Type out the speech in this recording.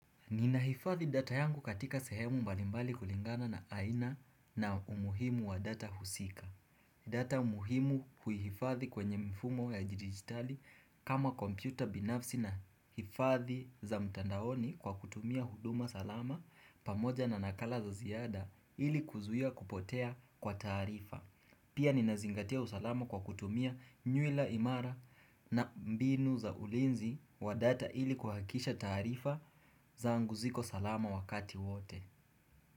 Ninahifadhi data yangu katika sehemu mbalimbali kulingana na aina na umuhimu wa data husika. Data umuhimu kuhifathi kwenye mfumo ya jidigitali kama kompyuta binafsi na hifadhi za mtandaoni kwa kutumia huduma salama pamoja na nakala za ziyada ili kuzuia kupotea kwa tarifa. Pia ni nazingatia usalama kwa kutumia nywila imara na mbinu za ulinzi wa data ili kuhakisha tarifa za anguziko salama wakati wote.